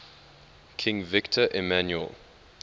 king victor emmanuel